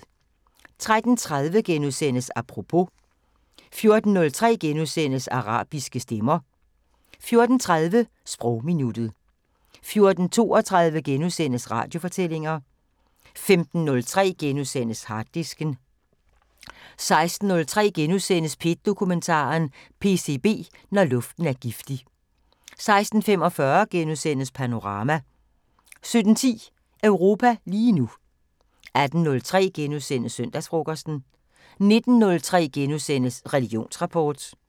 13:30: Apropos * 14:03: Arabiske stemmer * 14:30: Sprogminuttet 14:32: Radiofortællinger * 15:03: Harddisken * 16:03: P1 Dokumentar: PCB – Når luften er giftig * 16:45: Panorama * 17:10: Europa lige nu 18:03: Søndagsfrokosten * 19:03: Religionsrapport *